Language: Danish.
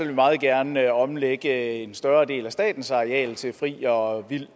vi meget gerne omlægge en større del af statens areal til fri og vild